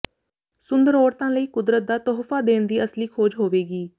ਸੁੰਦਰ ਔਰਤਾਂ ਲਈ ਕੁਦਰਤ ਦਾ ਤੋਹਫ਼ਾ ਦੇਣ ਦੀ ਅਸਲੀ ਖੋਜ ਹੋਵੇਗੀ